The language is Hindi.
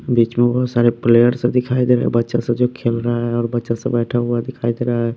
बीच में बहुत सारे प्लेयर्स दिखाई दे रहा है बच्चा सब जो खेल रहा है और बच्चा सब बैठा हुआ दिखाई दे रहा है।